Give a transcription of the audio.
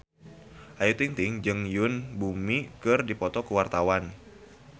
Ayu Ting-ting jeung Yoon Bomi keur dipoto ku wartawan